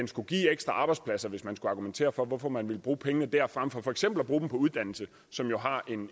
skulle give ekstra arbejdspladser hvis man skulle argumentere for hvorfor man vil bruge pengene der frem for for eksempel at bruge dem på uddannelse som har